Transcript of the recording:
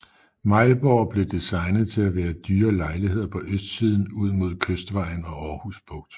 Mejlborg blev designet til at være dyre lejligheder på østsiden ud mod Kystvejen og Aarhus Bugt